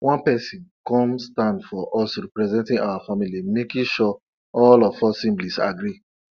whenever evening time reach my mama dey tell us tori about when she dey harvest cassava and how de moon been dey guide her